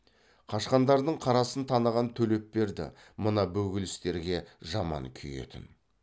қашқандардың қарасын таныған төлепберді мына бөгелістерге жаман күйетін